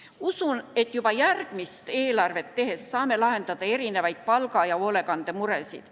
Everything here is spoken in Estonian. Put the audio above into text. Usun, et juba järgmist eelarvet tehes saame lahendada erinevaid palga- ja hoolekandemuresid.